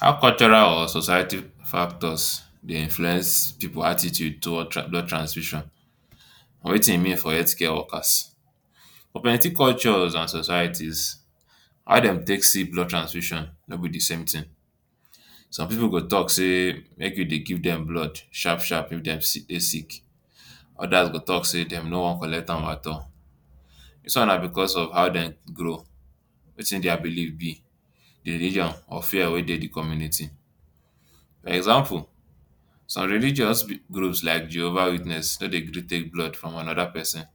How cultural or society factor dey influence pipu attitude towards tran blood transfusion but watin e mean for health care workers. for plenty culture and societies, how dem take see blood transfusion no be di same tin. Some pipu go talk say make you dey give dem blood sharp sharp if dem sick dey sick, odas go talk say dem no wan collect am at all. Dis one na because of how dem grow, watin dia believe be, di religion or fear wey dey di community. Example, some religious group like Jehovah Witness, no dey gree take blood from anoda pesin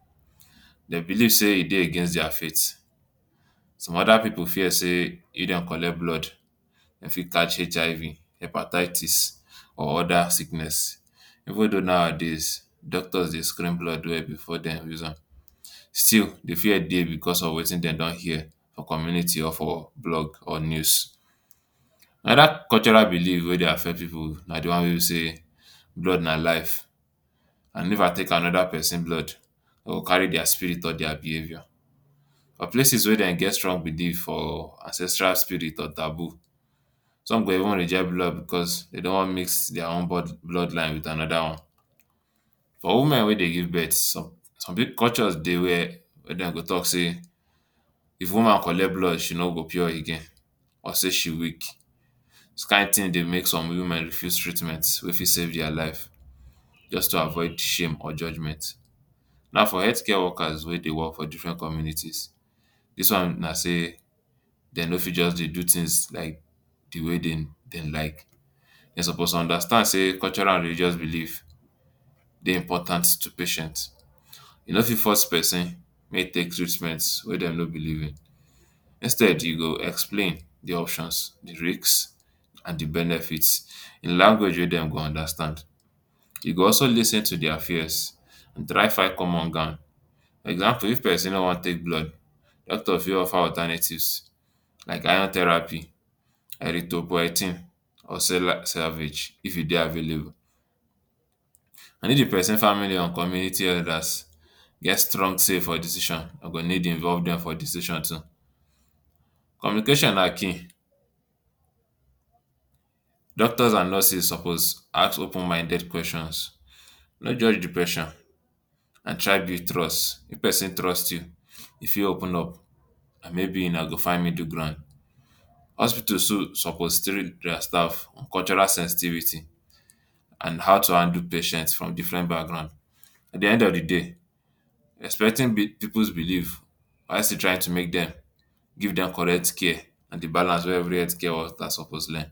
dem believe say e dey against dia faith, some oda pipu fear say if dem collect blood dem, fit catch HIV, Hepatitis, or oda sicknesses even tho nowadays doctors dey screen blood well before dem use am, still di fear dey because of watin dem don hear for community or for blog or news. Oda cultural believe wey dey affect pipu na di one wey be say blood na life, and if I take anoda pesin blood I go carry dia spirit or dia behaviour, some place wey dem get strong believe for ancestral spirit or taboo some go even reject blood because dem no wan mix dia own blood bloodline with anoda one. For women wey dey give birth, some culture dey were were dem go talk say if woman collect blood e no go pure again or say e weak. Dis kain tin dey make some women refuse treatment wey fit save dia life just to avoid shame or judgement. Now for healthcare workers wey dey work for different communities dis one na say dem no fit just dey do tins like di way dem like, dem suppose understand say cultural and religious believe dey important to patient, you no fit force pesin make e take treatment wey dem no believe in, instead you go explain di options, di risks and di benefits in language wey dem go understand. You go also lis ten to dia fears, try find common ground. Example, if pesin no wan take blood, doctor fit offer alternatives like iron therapy, Erythropoiesis or cell salvage if e dey available. If di pesin family or community elders get strong say for di decision den go need involve dem for decision too. Communication na key, doctors and nurses suppose ask open minded questions, no judge di pesin and try build trust. If pesin trust you, e fit open up and maybe una go find middle ground, hospital too suppose train dia staff cultural sensitivity and how to handle patients from different background at di end of di day respecting um pipu’s believe while still trying to make dem give dem correct care na di balance wey every healthcare workers suppose learn.